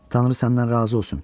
Tanrı səndən razı olsun.